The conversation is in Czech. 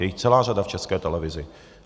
Je jich celá řada v České televizi.